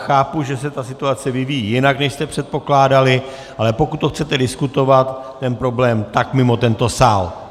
Chápu, že se ta situace vyvíjí jinak, než jste předpokládali, ale pokud to chcete diskutovat, ten problém, tak mimo tento sál.